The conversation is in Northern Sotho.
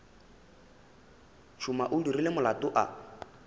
tšhuma o dirile molato a